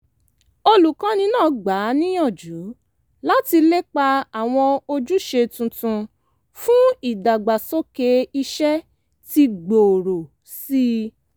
olùkọ́ni náà gbà á níyànjú láti lépa àwọn ojúṣe tuntun fún ìdàgbàsókè iṣẹ́ tí gbóòrò sí i